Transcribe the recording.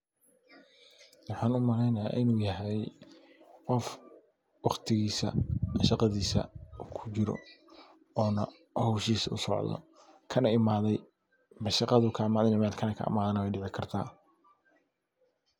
Waxan u maleynaya inu yahay qof waqtigisa, shaqadisa kujiraa inu yahay oona howshisa u socdo kana imadhey. Mashaqadhu kaimade mise mel kale kaimade wey dici karta.